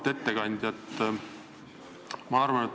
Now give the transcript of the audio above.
Auväärt ettekandja!